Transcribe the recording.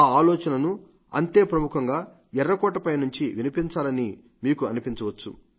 ఆ ఆలోచనలను అంతే ప్రముఖంగా ఎర్రకోట పై నుండి వినిపించాలని మీరు అనిపించవచ్చు